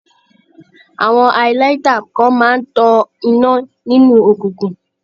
Àwọn highlighter kan máa ń tọná nínú òkuǹkùn.